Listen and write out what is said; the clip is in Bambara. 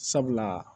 Sabula